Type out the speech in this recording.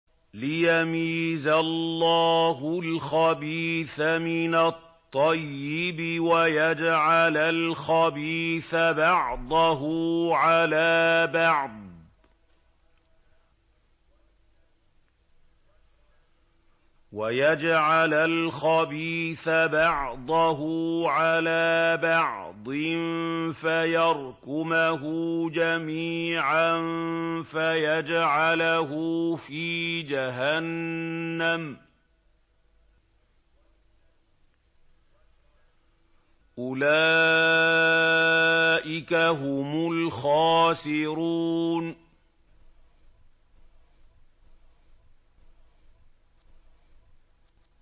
لِيَمِيزَ اللَّهُ الْخَبِيثَ مِنَ الطَّيِّبِ وَيَجْعَلَ الْخَبِيثَ بَعْضَهُ عَلَىٰ بَعْضٍ فَيَرْكُمَهُ جَمِيعًا فَيَجْعَلَهُ فِي جَهَنَّمَ ۚ أُولَٰئِكَ هُمُ الْخَاسِرُونَ